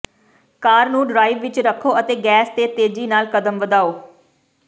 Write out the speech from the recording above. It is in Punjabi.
ਕਾਰ ਨੂੰ ਡ੍ਰਾਈਵ ਵਿੱਚ ਰੱਖੋ ਅਤੇ ਗੈਸ ਤੇ ਤੇਜੀ ਨਾਲ ਕਦਮ ਵਧਾਓ